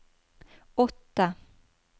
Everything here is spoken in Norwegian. åtte